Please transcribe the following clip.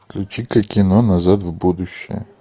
включи ка кино назад в будущее